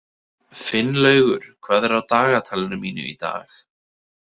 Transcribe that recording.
Finnlaugur, hvað er á dagatalinu mínu í dag?